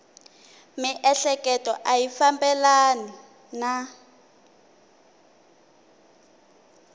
miehleketo a yi fambelani na